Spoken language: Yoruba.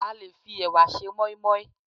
a lè fi ẹwà se moimoi